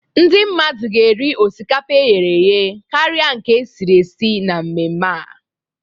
Ndị mmadụ ga-eri osikapa e ghere eghe karịa nke e siri esi na mmemme a.